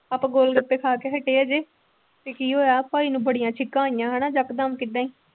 ਆਪਾਂ ਗੋਲਗੱਪੇ ਖਾ ਕੇ ਹਟੇ ਹਜੇ ਤੇ ਕੀ ਹੋਇਆ ਭਾਈ ਨੂੰ ਬੜੀਆਂ ਛਿੱਕਾਂ ਆਈਆਂ ਹਨ ਇੱਕ ਦਮ ਕਿੱਦਾਂ ਹੀ।